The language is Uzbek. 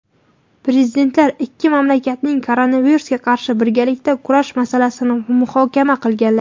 Prezidentlar ikki mamlakatning koronavirusga qarshi birgalikda kurash masalasini muhokama qilganlar.